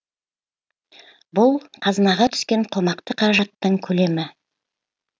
бұл қазынаға түскен қомақты қаражаттың көлемі